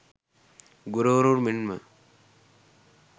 ගුරුවරුන් මෙන්ම